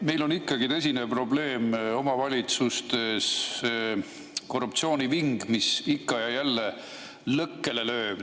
Meil on ikkagi tõsine probleem omavalitsustes korruptsiooniving, mis ikka ja jälle lõkkele lööb.